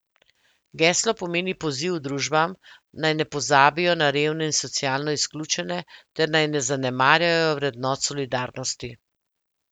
Geslo pomeni poziv družbam, naj ne pozabijo na revne in socialno izključene ter naj ne zanemarjajo vrednot solidarnosti.